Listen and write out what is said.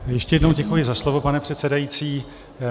Ještě jednou děkuji za slovo, pane předsedající.